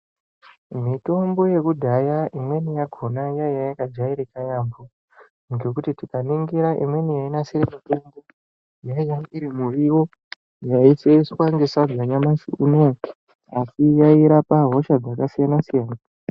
Mitombo yekudhaya imweni yakhona yaiya yakajairika yaamho, ngekuti tikaningira imweni yainasire mitombo, yainge iri miriwo yaiseveswa nesadza nyamashi unouyu asi yairapa hosha dzakasiyana-siyana.